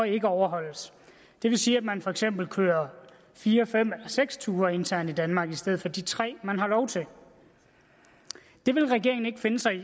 ikke overholdes det vil sige at man for eksempel kører fire fem seks ture internt i danmark i stedet for de tre man har lov til det vil regeringen ikke finde sig i